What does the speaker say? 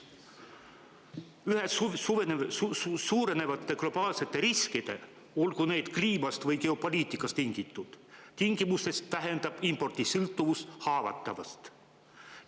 Üha suurenevate globaalsete riskide – olgu neid kliimast või geopoliitikast tingitud – tingimustes tähendab impordist sõltuvus haavatavust.